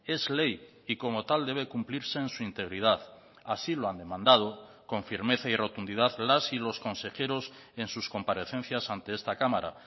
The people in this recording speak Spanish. es ley y como tal debe cumplirse en su integridad así lo han demandado con firmeza y rotundidad las y los consejeros en sus comparecencias ante esta cámara